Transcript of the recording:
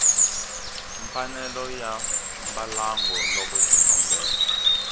mfanelo ya mbalango loko xikombelo